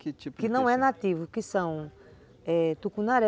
Que tipo que não é nativo, que são nativos, é, tucunaré,